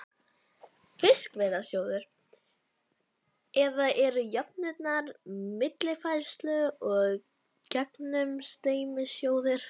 Fiskveiðasjóður, eða eru jöfnunar-, millifærslu- og gegnumstreymissjóðir.